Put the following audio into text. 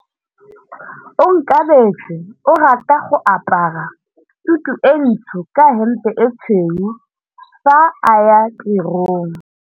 Onkabetse o rata go apara sutu e ntsho ka hempe e tshweu fa a ya tirong.